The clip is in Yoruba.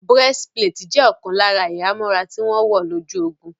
Breastplate jẹ́ ọ̀kan lára ìhámọ́ra tí wọ́n wọ̀ lójú ogun